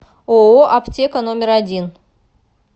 ооо аптека номер один